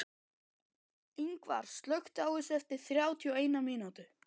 Yngvar, slökktu á þessu eftir þrjátíu og eina mínútur.